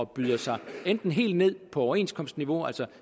byder sig helt ned på overenskomstniveau